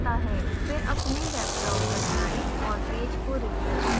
फिर अपने web browser जाएं और पेज को refresh करें